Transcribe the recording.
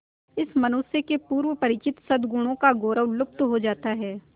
इस मनुष्य के पूर्व परिचित सदगुणों का गौरव लुप्त हो जाता है